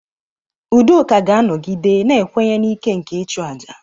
Udoka ga-anọgide na-ekwenye na ike nke ịchụ aja.